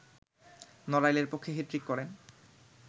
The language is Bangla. নড়াইলের পক্ষে হ্যাটট্রিক করেন